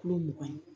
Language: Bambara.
Kulo mugan ye